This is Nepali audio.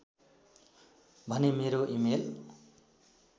भने मेरो इमेल